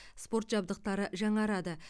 спорт жабдықтары жаңарады